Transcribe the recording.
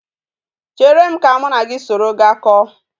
Chere m ka m na gi soro gaa ko